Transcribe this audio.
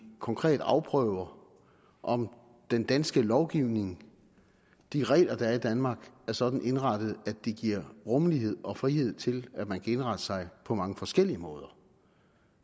konkret afprøver om den danske lovgivning de regler der er i danmark er sådan indrettet at de giver rummelighed og frihed til at man kan indrette sig på mange forskellige måder